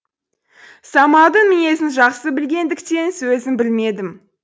самалдың мінезін жақсы білгендіктен сөзін бөлмедім